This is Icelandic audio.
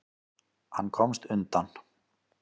Hann komst undan.